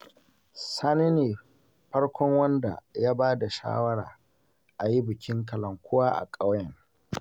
Sani ne farkon wanda ya ba da shawarar a yi bikin kalankuwa a ƙauyen